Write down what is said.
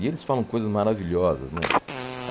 E eles falam coisas maravilhosas, né?